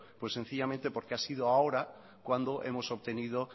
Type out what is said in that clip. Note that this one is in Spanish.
pues sencillamente porque ha sido ahora cuando hemos obtenido